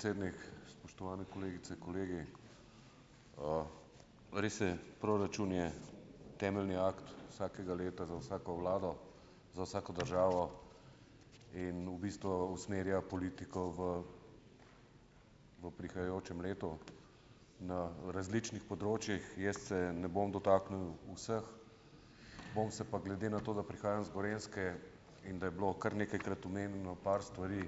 Podpredsednik, spoštovane kolegice, kolegi, res je, proračun je temeljni akt vsakega leta za vsako vlado, za vsako državo in v bistvu usmerja politiko v v prihajajočem letu na različnih področjih, jaz se ne bom dotaknil vseh, bom se pa glede na to, da prihajam z Gorenjske in da je bilo kar nekajkrat omenjeno par stvari,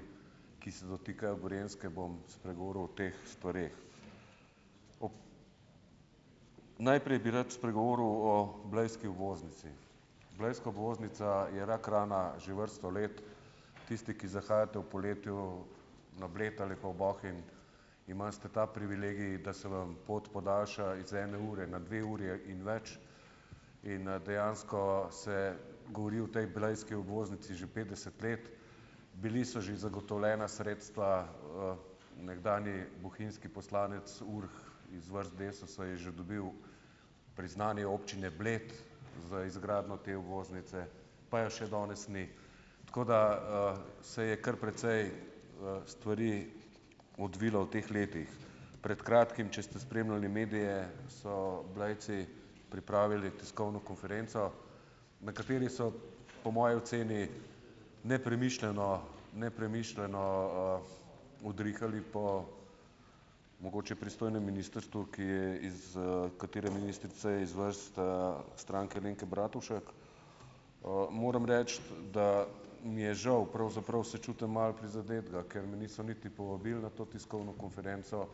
ki se dotikajo Gorenjske, bom spregovoril o teh stvareh. Ob, najprej bi rad spregovoril o blejski obvoznici. Blejska obvoznica je rak rana že vrsto let, tisti, ki zahajate v poletju na Bled ali pa v Bohinj, imate ta privilegij, da se vam pot podaljša iz ene ure na dve uri in več, in dejansko se govori o tej blejski obvoznici že petdeset let, bila so že zagotovljena sredstva, nekdanji bohinjski poslanec Urh iz vrst Desusa je že dobil priznanje občine Bled za izgradnjo te obvoznice, pa je še danes ni, tako da, se je kar precej, stvari odvilo v teh letih, pred kratkim, če ste spremljali medije, so Blejci pripravili tiskovno konferenco, na kateri so po moji oceni nepremišljeno, nepremišljeno, udrihali po mogoče pristojnem ministrstvu, ki je iz katere ministrice, je iz vrst, Stranke Alenke Bratušek, moram reči, da mi je žal pravzaprav, se čutim malo prizadetega, ker me niso niti povabili na to tiskovno konferenco,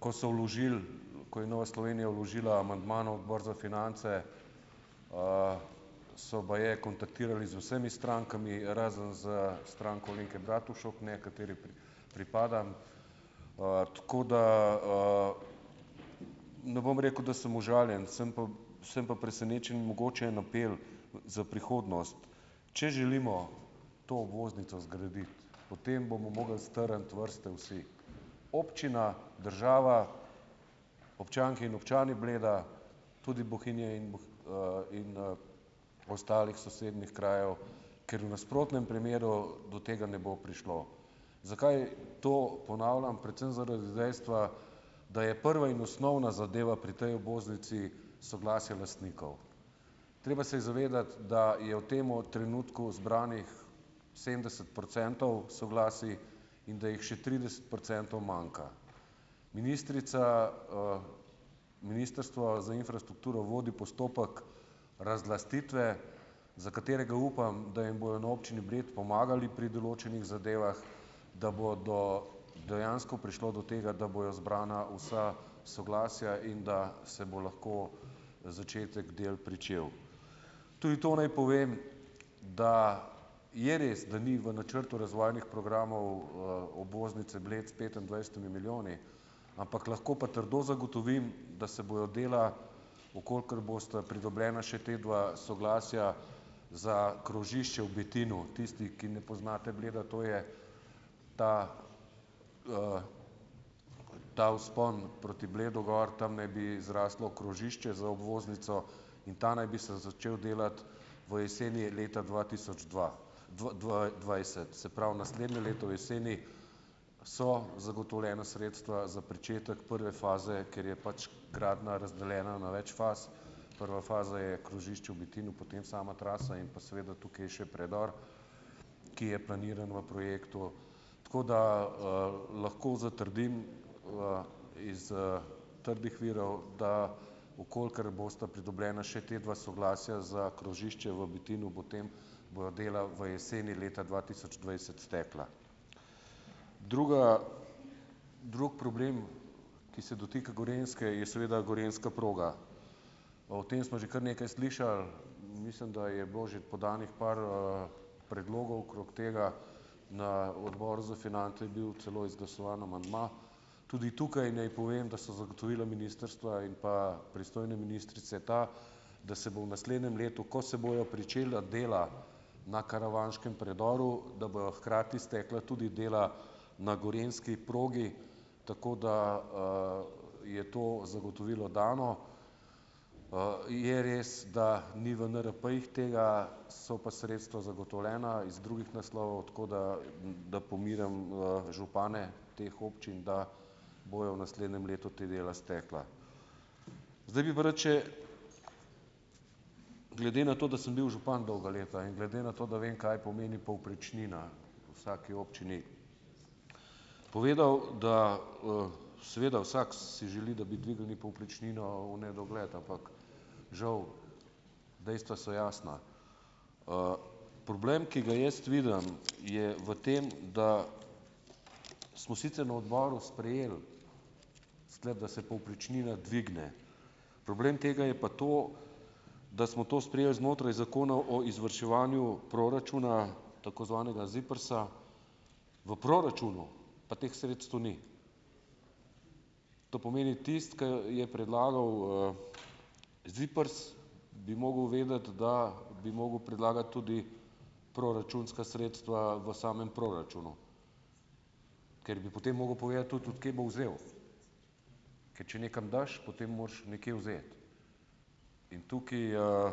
ko so vložili, ko je Nova Slovenija vložila amandma na odbor za finance, so baje kontaktirali z vsemi strankami razen s Stranko Alenke Bratušek, ne, kateri pripada, tako da, ne bom rekel, da sem užaljen, sem pa, sem pa presenečen, mogoče en apel za prihodnost, če želimo to obvoznico zgraditi, potem bomo mogli strniti vrste vsi, občina, država, občanke in občani Bleda, tudi Bohinja in in, ostalih sosednjih krajev, ker v nasprotnem primeru do tega ne bo prišlo. Zakaj to ponavljam? Predvsem zaradi dejstva, da je prva in osnovna zadeva pri tej obvoznici soglasja lastnikov, treba se je zavedati, da je v tem trenutku zbranih sedemdeset procentov soglasij in da jih še trideset procentov manjka. Ministrica, ministrstvo za infrastrukturo vodi postopek razlastitve, za katerega, upam, da jim bojo na občini Bled pomagali pri določenih zadevah, da bo do dejansko prišlo do tega, da bojo zbrana vsa soglasja in da se bo lahko začetek del pričel. Tudi to naj povem, da je res, da ni v načrtu razvojnih programov, obvoznice Bled s petindvajsetimi milijoni, ampak lahko pa trdo zagotovim, da se bojo dela, v kolikor bosta pridobljeni še ti dve soglasji za krožišče v Betinu, tisti, ki ne poznate Bleda, to je ta, ta vzpon proti Bledu gor, tam naj bi zraslo krožišče z obvoznico, in ta naj bi se začel delati v jeseni leta dva tisoč dva dvajset, se pravi, naslednje leto jeseni so zagotovljena sredstva za pričetek prve faze, ker je pač gradnja razdeljena na več faz. Prva faza je krožišče v Betinu, potem sama trasa in pa seveda tukaj je še predor, ki je planiran v projektu, tako da, lahko zatrdim, iz, trdih virov, da okoli, ker bosta pridobljeni še ti dve soglasji za krožišče v Betinu bo tem, bojo delali v jeseni leta dva tisoč dvajset stekla. Druga, drug problem, ki se dotika Gorenjske, je seveda gorenjska proga, o tem smo že kar nekaj slišali, mislim, da je bilo že podanih par, predlogov krog tega, na odboru za finance je bil celo izglasovan amandma, tudi tukaj naj povem, da so zagotovila ministrstva in pa pristojne ministrice ta, da se bo v naslednjem letu, ko se bojo pričela dela na karavanškem predoru, da bojo hkrati stekla tudi dela na gorenjski progi, tako da, je to zagotovilo dano. je res, da ni v NRP-jih tega so pa sredstva zagotovljena iz drugih naslovov tako, da da pomirim župane teh občin, da bojo v naslednjem letu ta dela stekla, zdaj bi pa rad še, glede na to, da sem bil župan dolga leta, in glede na to, da vem, kaj pomeni povprečnina, vsaki občini povedal, da, seveda vsak si želi da bi dvignili povprečnino v nedogled, ampak žal dejstva so jasna, problem, ki ja jaz vidim, je v tem, da smo sicer na odboru sprejeli sklep, da se povprečnina dvigne. Problem tega je pa to, da smo to sprejeli znotraj zakona o izvrševanju proračuna, tako zvanega ZIPRS-a, v proračunu pa teh sredstev ni, to pomeni, tisti, ki je predlagal, ZIPRS, bi mogel vedeti, da bi mogel predlagati tudi proračunska sredstva v samem proračunu, ker bi potem mogel povedati tudi, kje bo vzel, ker če nekam daš, potem moraš nekaj vzeti, tukaj,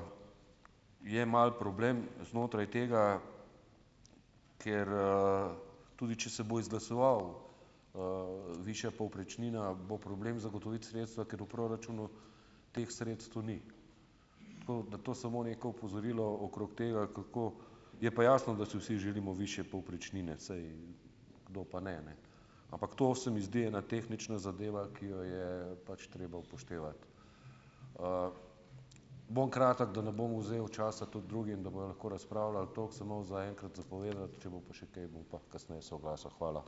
je malo problem znotraj tega, ker, tudi če se bo izglasovala, višja povprečnina, bo problem zagotoviti sredstva, ker v proračunu teh sredstev ni, tako da to samo neko opozorilo okrog tega, kako, je pa jasno, da si vsi želimo višje povprečnine, saj kdo pa ne, ne, ampak to se mi zdi ena tehnična zadeva, ki jo je pač treba upoštevati, bom kratek, da ne bom vzel časa tudi drugim, da bojo lahko razpravljali, toliko sem imel zaenkrat za povedati, če bo pa še kaj, bom pa kasneje se oglasil. Hvala.